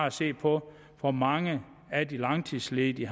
at se på hvor mange af de langtidsledige